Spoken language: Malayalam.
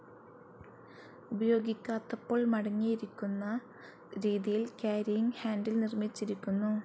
ഉപയോഗിക്കാത്തപ്പോൾ മടങ്ങിയിരിക്കുന്ന രീതിയിൽ കാരിയിങ്‌ ഹാന്റിൽ നിർമ്മിച്ചിരിക്കുന്നു.